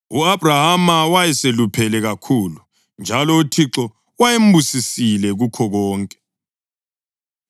U-Abhrahama wayeseluphele kakhulu, njalo uThixo wayembusisile kukho konke.